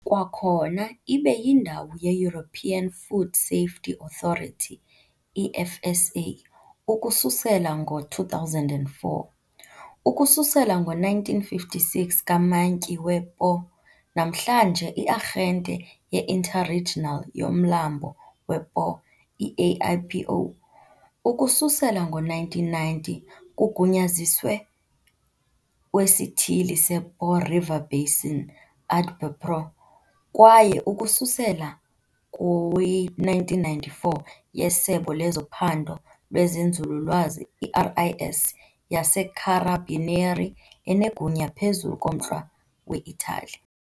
Kwakhona ibe yindawo ye-European Food Safety Authority, EFSA, ukususela ngo-2004 , ukususela ngo-1956 kaMantyi we-Po, namhlanje i-Arhente ye-Interregional yoMlambo we-Po, i-AIPO, ukususela ngo-1990 kugunyaziwe wesithili sePo river basin, AdbPo, kwaye ukususela kwi-1994 yeSebe lezoPhando lwezeNzululwazi, i-RIS, yaseCarabinieri, enegunya phezu komntla we-Italy .